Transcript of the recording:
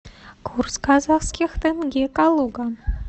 курс казахских тенге калуга